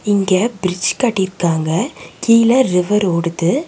இங்க பிரிட்ஜ் கட்டிருக்காங்க கீழ ரிவர் ஓடுது.